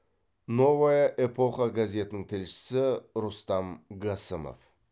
новая эпоха газетінің тілшісі рустам гасымов